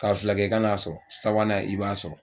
Ka fila kɛ kan'a sɔrɔ sabanan i b'a sɔrɔ